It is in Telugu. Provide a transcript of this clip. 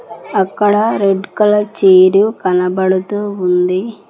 అక్కడ రెడ్ కలర్ చైర్ కనబడుతూ ఉంది.